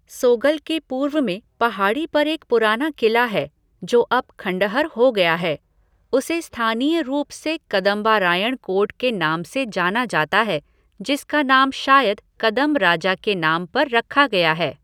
सोगल के पूर्व में पहाड़ी पर एक पुराना किला है जो अब खंडहर हो गया है, उसे स्थानीय रूप से कदंबारायण कोट के नाम से जाना जाता है जिसका नाम शायद कदंब राजा के नाम पर रखा गया है।